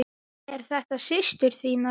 Eru þetta systur þínar?